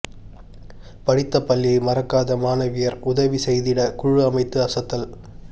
படித்த பள்ளியை மறக்காத மாணவியர் உதவி செய்திட குழு அமைத்து அசத்தல்